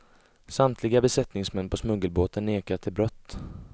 Samtliga besättningsmän på smuggelbåten nekar till brott.